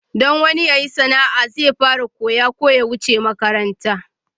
Don wani ya yi sana'a zai fara koya ko ya wuce makaranta.